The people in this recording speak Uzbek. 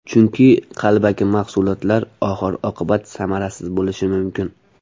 Chunki, qalbaki mahsulotlar oxir oqibat samarasiz bo‘lishi mumkin.